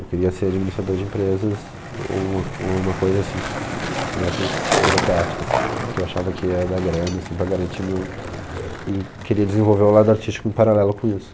Eu queria ser administrador de empresas ou ou alguma coisa assim que, dessas burocráticas, que eu achava que ia dar grana, assim, para garantir o meu... E queria desenvolver o lado artístico em paralelo com isso.